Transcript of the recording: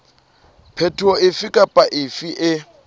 phetoho efe kapa efe e